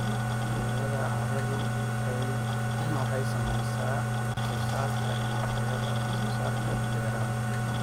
Tayada carradu waxay saamaysaa wax soo saarka iyo tayada wax soo saarka beeraha.